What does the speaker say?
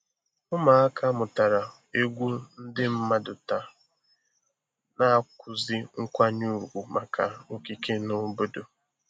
Ụmụaka mụtara egwu ndị mmadụ taa na-akụzi nkwanye ùgwù maka okike na obodo